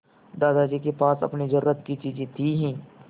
दादाजी के पास अपनी ज़रूरत की चीजें थी हीं